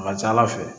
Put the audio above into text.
A ka ca ala fɛ